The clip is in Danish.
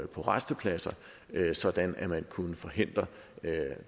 på rastepladser sådan at man kunne forhindre